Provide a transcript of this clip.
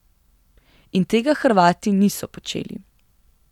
In tega Hrvati niso počeli.